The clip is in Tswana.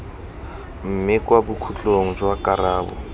mme kwa bokhutlong jwa karabo